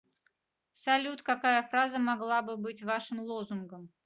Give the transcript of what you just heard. салют какая фраза могла бы быть вашим лозунгом